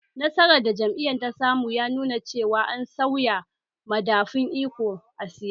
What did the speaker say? Nasarar da jam'iyyar ta samu ya nuna cewa an sauya madafun iko a siyasan